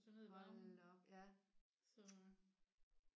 Hold da op ja